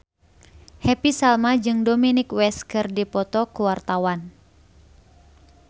Happy Salma jeung Dominic West keur dipoto ku wartawan